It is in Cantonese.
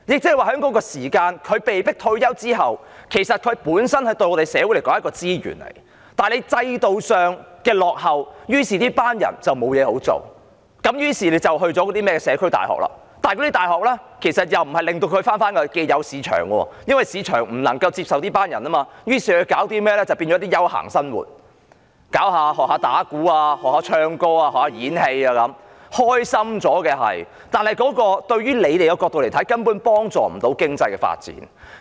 他們在被迫退休的時候，對社會來說是一種資源，但制度上的落後令這群人沒有工作，於是他們便報讀甚麼社區大學，但那些大學無法令他們重返既有的市場，因為市場不能夠接受這群人，於是他們唯有過着一些休閒的生活，學習打鼓、唱歌、演戲，生活是開心了，但從政府的角度來說，根本無法幫助經濟發展。